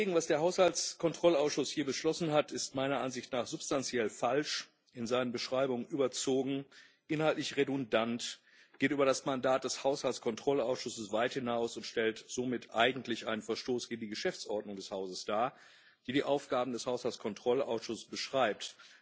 Was der Haushaltskontrollausschuss hier beschlossen hat, ist meiner Ansicht nach substanziell falsch, in seinen Beschreibungen überzogen, inhaltlich redundant, geht über das Mandat des Haushaltskontrollausschusses weit hinaus und stellt somit eigentlich einen Verstoß gegen die Geschäftsordnung des Hauses dar, die die Aufgaben des Haushaltskontrollausschusses beschreibt